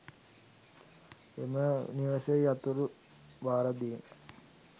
එම නිවෙස්හි යතුරු භාරදීම